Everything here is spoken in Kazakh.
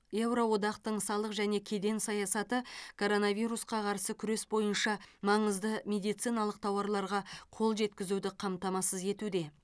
еуро одақтың салық және кеден саясаты коронавирусқа қарсы күрес бойынша маңызды медициналық тауарларға қол жеткізуді қамтамасыз етуде